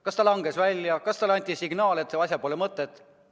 Kas ta langes välja, kas talle anti signaal, et asjal pole mõtet?